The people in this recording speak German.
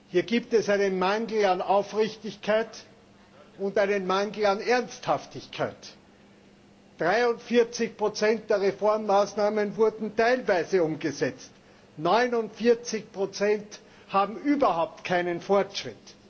Hier gibt es einen Mangel an Aufrichtigkeit und einen Mangel an Ernsthaftigkeit. 43 der Reformmaßnahmen wurden teilweise umgesetzt, 49 haben überhaupt keinen Fortschritt.